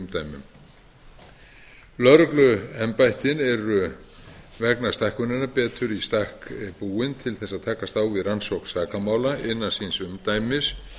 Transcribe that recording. hinum nýju umdæmum lögregluembættin eru vegna stækkunarinnar betur í stakk búin til þess að takast á við rannsókn sakamála innan síns umdæmis